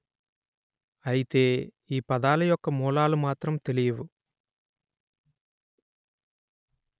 అయితే ఈ పదాల యొక్క మూలాలు మాత్రం తెలియవు